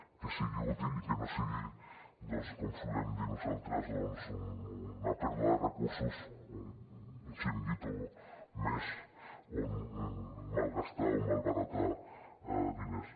que sigui útil i que no sigui com solem dir nosaltres una pèrdua de recursos un xiringuito més on malgastar o malbaratar diners